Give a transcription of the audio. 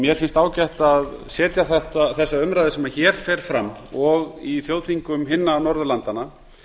mér finnst ágætt að setja þessa umræðu sem hér fer fram og í þjóðþingum hinna norðurlandanna